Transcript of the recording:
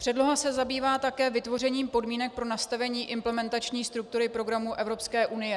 Předloha se zabývá také vytvořením podmínek pro nastavení implementační struktury programů Evropské unie.